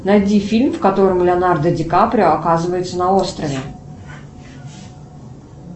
найди фильм в котором леонардо ди каприо оказывается на острове